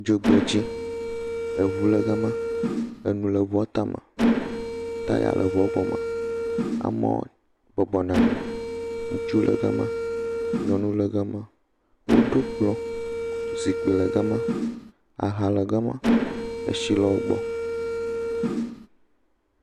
Dzogbedzi, eŋu le gama, enu le ŋuɔ tame, taya le eŋuɔ gɔme. Amewo bɔbɔ nɔ nyi. Ŋutsuwo le gama. Nyɔnuwo le gama. Woɖo kplɔ̃, zikpi le gama, aha le gama, eshi le wogbɔ.